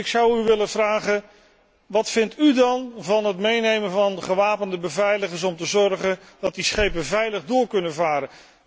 Dus ik zou u willen vragen wat vindt u van het meenemen van gewapende beveiligers om te zorgen dat die schepen veilig door kunnen varen.